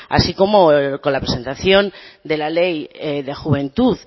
así como con la presentación de la ley de juventud